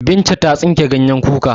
Binta ta tsinke ganyen kuka.